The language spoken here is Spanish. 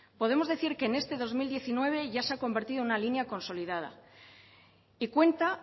podemos decir que en este dos mil diecinueve ya se ha convertido en una línea consolidada y cuenta